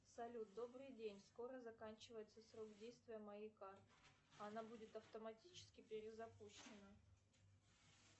салют добрый день скоро заканчивается срок действия моей карты она будет автоматически перезапущена